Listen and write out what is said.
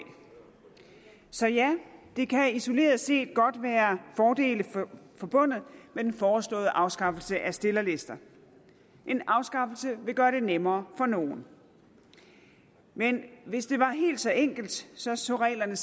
så ja der kan isoleret set godt være fordele forbundet med den foreslåede afskaffelse af stillerlister en afskaffelse vil gøre det nemmere for nogle men hvis det var helt så enkelt så så reglerne